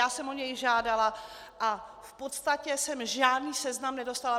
Já jsem o něj žádala a v podstatě jsem žádný seznam nedostala.